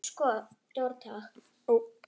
Hvers kyns ertu lesandi góður?